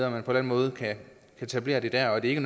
og man på den måde kan etablere det der og at det ikke